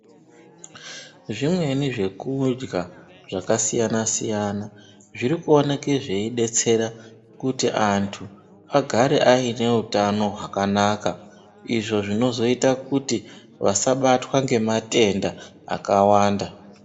Zvimweni zvekudya zvakasiyana-siyana zvirikuoneke zveidetsera kuti antu agare aine utano hwakanaka, izvo zvinozoita kuti vasabatwa ngematenda akawanda.